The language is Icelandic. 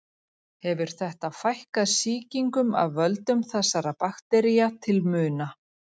Hefur þetta fækkað sýkingum af völdum þessara baktería til muna.